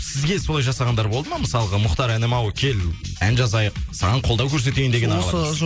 сізге солай жасағандар болды ма мысалға мұхтар інім ау кел ән жазайық саған қолдау көрсетейін деген